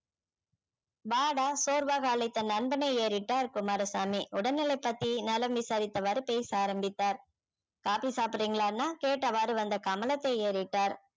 வாடா சோர்வாக அழைத்த நண்பனை ஏறிட்டார் குமாரசாமி உடல்நிலை பத்தி நலம் விசாரித்தவாறு பேச ஆரம்பித்தார் coffee சாப்பிடுறீங்களா அண்ணா கேட்டவாறு வந்த கமலத்தை ஏறிட்டார்